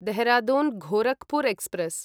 Dehradun Gorakhpur express